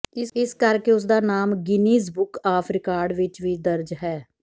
ਇਸ ਕਰਕੇ ਉਸ ਦਾ ਨਾਮ ਗਿਨੀਜ਼ ਬੁੱਕ ਆਫ਼ ਰਿਕਾਰਡ ਵਿਚ ਵੀ ਦਰਜ ਹੈ